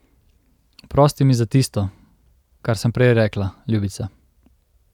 Oprosti mi za tisto, kar sem prej rekla, ljubica.